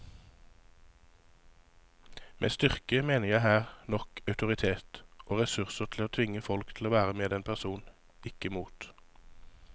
Med styrke mener jeg her nok autoritet og ressurser til å kunne tvinge folk til å være med en person, ikke mot.